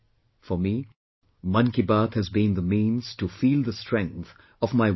For me, Mann Ki Baat has been the means to feel the strength of my 1